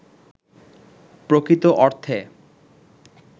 প্রকৃত অর্থে